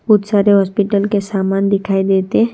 बहोत सारे हॉस्पिटल के समान दिखाई देते।